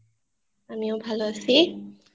আমিও ভালো আছি